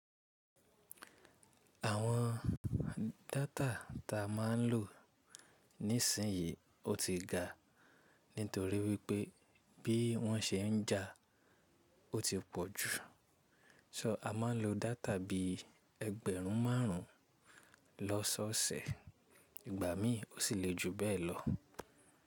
Àwọn data ta máa ń lò nísinsìnyí ó ti ga nítorí wípé bí wọ́n ṣe ń jàa ó ti pọ̀ jù. Ṣọ a máa ń lo data bí ẹgbẹ̀rún márùn ún lọ́sọ̀ọ̀sẹ̀ ìgbà mí ò sì le ju bẹ́ẹ̀ lọ.